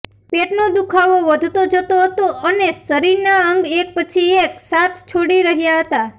પેટનો દુખાવો વધતો જતો હતો અને શરીરના અંગ એક પછી એક સાથ છોડી રહ્યા હતા